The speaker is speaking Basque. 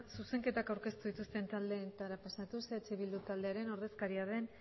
zuzenketak aurkeztu dituzten taldeetara pasatuz eh bildu taldearen ordezkaria den